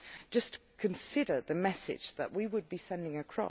Just consider the message that we would be sending out.